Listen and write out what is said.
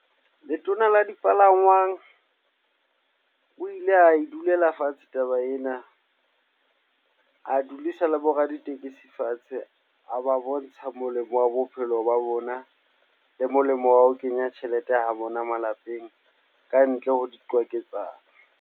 Letona la dipalangwang o ile ae dulela fatshe taba ena. A dulisa le bo raditekesi fatshe, a ba bontsha molemo wa bophelo ba bona le molemo wa ho kenya tjhelete ha bona malapeng kantle ho diqwaketsano.